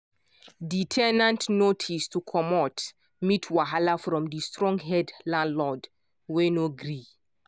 di ten ant notice to comot meet wahala from di strong head landlord wey no gree.